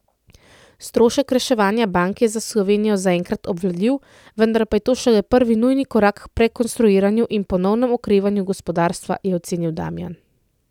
Strošek reševanja bank je za Slovenijo zaenkrat obvladljiv, vendar pa je to šele prvi nujni korak k prestrukturiranju in ponovnem okrevanju gospodarstva, je ocenil Damijan.